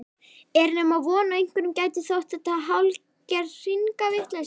Er nema von að einhverjum gæti þótt þetta hálfgerð hringavitleysa?